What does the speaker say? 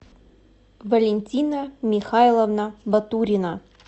валентина михайловна батурина